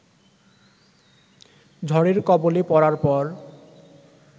ঝড়ের কবলে পড়ার পর